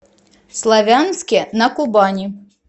славянске на кубани